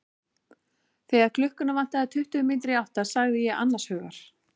Þegar klukkuna vantaði tuttugu mínútur í átta sagði ég annars hugar.